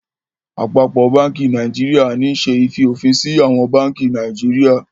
Àpapọ bánkì Nàìjíríà ní ṣe í fiofinsi àwọn bánkì Naijiria